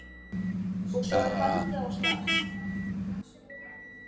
Og svo er haldið af stað.